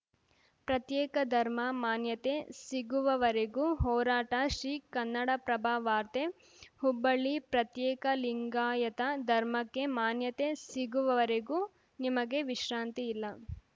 ಪ್ರತ್ಯೇಕ ಧರ್ಮ ಮಾನ್ಯತೆ ಸಿಗುವವರೆಗೂ ಹೋರಾಟಶ್ರೀ ಕನ್ನಡಪ್ರಭ ವಾರ್ತೆ ಹುಬ್ಬಳ್ಳಿ ಪ್ರತ್ಯೇಕ ಲಿಂಗಾಯತ ಧರ್ಮಕ್ಕೆ ಮಾನ್ಯತೆ ಸಿಗುವ ವರೆಗೂ ನಿಮಗೆ ವಿಶ್ರಾಂತಿ ಇಲ್ಲ